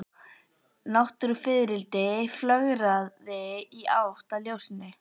Náttfiðrildi flögraði í átt að ljósinu.